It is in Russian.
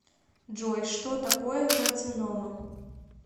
джой что такое карцинома